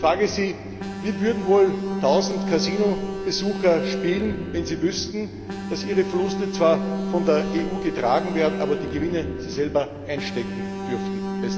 Ich frage Sie Wie würden wohl tausend Kasinobesucher spielen, wenn sie wüssten, dass ihre Verluste zwar von der EU getragen werden, sie aber die Gewinne selber einstecken dürfen?